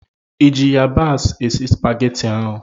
ị ji yabasị esi Supagetii ahụ?